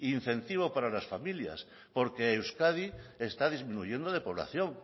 incentivos para las familias porque euskadi está disminuyendo de población